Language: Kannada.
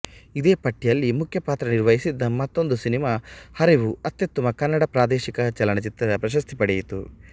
ಇದೇ ಪಟ್ಟಿಯಲ್ಲಿ ಮುಖ್ಯ ಪಾತ್ರ ನಿರ್ವಹಿಸಿದ್ದ ಮತ್ತೊಂದು ಸಿನೆಮಾ ಹರಿವು ಅತ್ಯುತ್ತಮ ಕನ್ನಡ ಪ್ರಾದೇಶಿಕ ಚಲನಚಿತ್ರ ಪ್ರಶಸ್ತಿ ಪಡೆಯಿತು